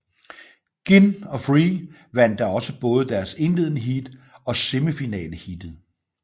Ginn og Free vandt da også både deres indledende heat og semifinaleheatet